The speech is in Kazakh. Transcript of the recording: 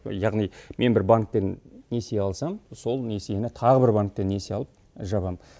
яғни мен бір банктен несие алсам сол несиені тағы бір банктен несие алып жабам